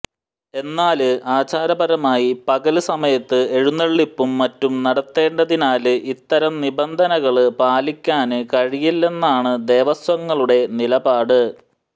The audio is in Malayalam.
എന്നാല് ആചാരപരമായി പകല് സമയത്ത് എഴുന്നെള്ളിപ്പും മറ്റും നടത്തേണ്ടതിനാല് ഇത്തരം നിബന്ധനകള് പാലിക്കാന് കഴിയില്ലെന്നാണ് ദേവസ്വങ്ങളുടെ നിലപാട്